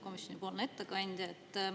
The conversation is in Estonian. Komisjonipoolne ettekandja!